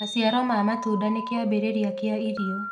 Maciaro ma matunda nĩ kĩambiririria kĩa irio